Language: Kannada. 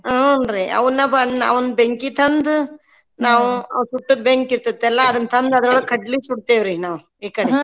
ಹ್ಞೂನ್ರಿ ಅವನ್ನ ಬ~ ಅವ್ನ್ ಬೆಂಕಿ ತಂದು ನಾವ್ ಆ ಸುಟ್ಟದ ಬೆಂಕಿ ಇರ್ತೇತಲ್ಲಾ ಅದನ್ ತಂದ್ ಅದ್ರೊಳಗ್ ಕಡ್ಳಿ ಸುಡ್ತೇವ್ರಿ ನಾವ್ .